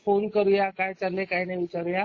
Phone करूया काय चाललंय काय नाय विचारूया.